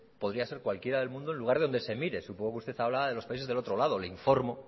podría ser cualquiera del mundo en lugar de donde se mire supongo que usted habla de los países del otro lado le informo